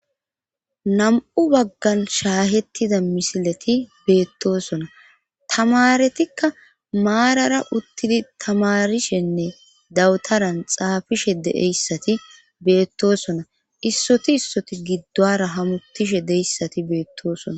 Nam7u baggan shaahettida misileti beettosona tamaretikka maarara uttidi tamarishenne dawutaran xaafishe de7eyssati beettosona issoti issoti giddowara hamutishe deyssati beettoosona.